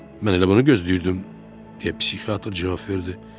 Mən elə bunu gözləyirdim, deyə psixiatr cavab verdi.